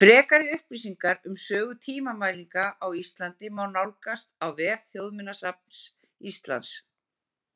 Frekari upplýsingar um sögu tímamælinga á Íslandi má nálgast á vef Þjóðminjasafns Íslands.